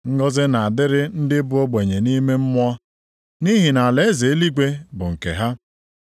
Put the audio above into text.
“Ngọzị na-adịrị ndị bụ ogbenye nʼime mmụọ, nʼihi na alaeze eluigwe bụ nke ha.